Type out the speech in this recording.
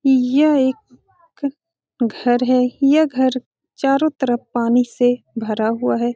यह एक घर है। यह घर चारो तरफ पानी से भरा हुआ है।